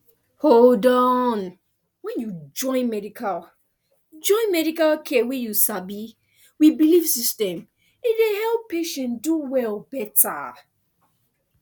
hold on when you join medical join medical care wey you sabi with belief system e dey help patient do well better